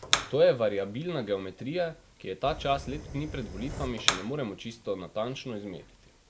To je variabilna geometrija, ki je ta čas, leto dni pred volitvami, še ne moremo čisto natančno izmeriti.